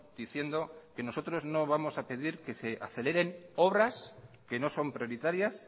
diciendo que nosotros no vamos a pedir que se aceleren obras que no son prioritarias